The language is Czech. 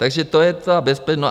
Takže to je ta bezpečnost.